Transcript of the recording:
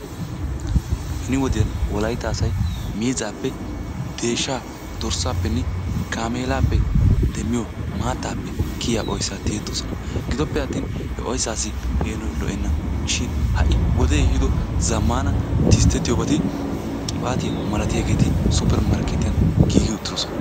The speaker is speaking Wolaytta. Benni wodiyan wolaytta asay miizappe deeshsha dorssappenne gaamellappe demiyo maattaappe kiyiyaa oyssa tiyettosonna. Gidoppe attin he oyssasi peenoy lo"enna shin ha'i woddee ehiddo zamaana tisttetiyobatti 'qibattiya' milattiyagetti 'suppermarkettiyani' giigi uttidosonna.